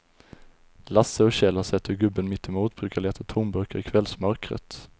Lasse och Kjell har sett hur gubben mittemot brukar leta tomburkar i kvällsmörkret.